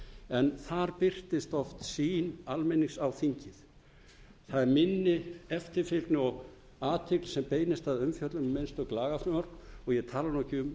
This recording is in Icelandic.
en þar birtist oft sýn almennings á þingi það er minni eftirfylgni og athygli sem beinist að umfjöllun um einstök lagafrumvörp og ég tala ekki um